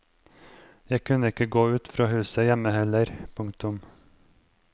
Jeg kunne ikke gå ut av huset hjemme heller. punktum